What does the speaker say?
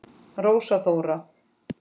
Rósa Þóra.